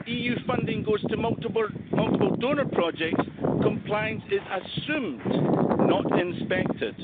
When EU funding goes to multiple donor projects, compliance is assumed, not inspected.